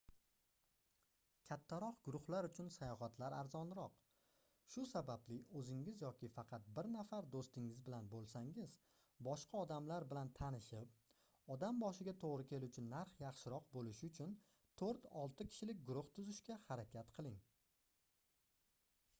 kattaroq guruhlar uchun sayohatlar arzonroq shu sababli oʻzingiz yoki faqat bir nafar doʻstingiz bilan boʻlsangiz boshqa odamlar bilan tanishib odam boshiga toʻgʻri keluvchi narx yaxshiroq boʻlishi uchun toʻrt-olti kishilik guruh tuzishga harakat qiling